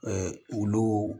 olu